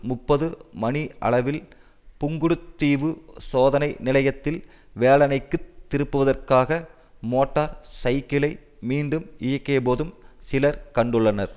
முப்பது மணியளவில் புங்குடுதீவு சோதனை நிலையத்தில் வேலனைக்குத் திரும்புவதற்காக மோட்டார் சைக்கிளை மீண்டும் இயக்கியபோதும் சிலர் கண்டுள்ளனர்